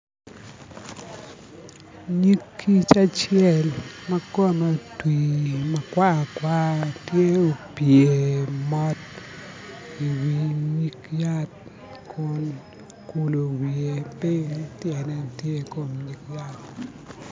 Nyig kic acel ma kome otwi ma kwar kwar tye opye mot iwi nyig yat kun okulo wiye piny tyene tye i kom nyig yat